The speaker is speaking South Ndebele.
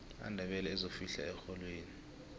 amandebele azofihla erholweni